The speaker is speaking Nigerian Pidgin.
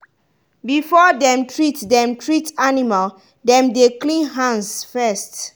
before dem treat dem treat animal dem dey clean hands first.